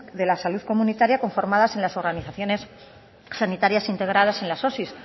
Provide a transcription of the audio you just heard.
de la salud comunitaria conformadas en las organizaciones sanitarias integradas en las osi